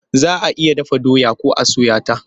Za a iya dafa doya ko a soya ta.